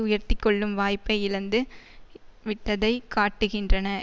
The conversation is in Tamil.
உயர்த்தி கொள்ளும் வாய்ப்பை இழந்து விட்டதைக் காட்டுகின்றன